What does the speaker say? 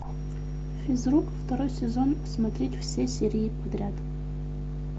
физрук второй сезон смотреть все серии подряд